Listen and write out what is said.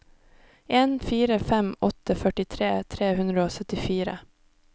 en fire fem åtte førtitre tre hundre og syttifire